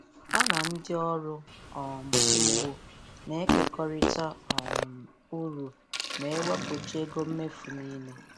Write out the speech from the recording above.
Ha na ndị ọrụ um ugbo na-ekekọrịta um uru ma ewepụcha ego mmefu niile